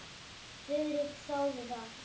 Friðrik þáði það.